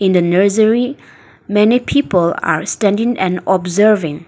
the nursery many people are standing and observing.